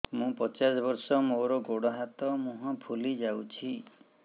ମୁ ପଚାଶ ବର୍ଷ ମୋର ଗୋଡ ହାତ ମୁହଁ ଫୁଲି ଯାଉଛି